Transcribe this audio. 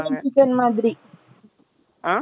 not clear chicken வைக்கறாங்களே அந்த மாதிரி அ